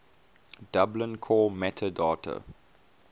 dublin core metadata